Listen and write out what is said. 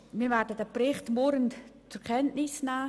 Wir werden diesen Bericht murrend zur Kenntnis nehmen.